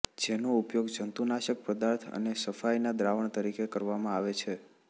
જેનો ઉપયોગ જંતુનાશક પદાર્થો અને સફાઇનાં દ્રાવણ તરીકે કરવામાં આવે છે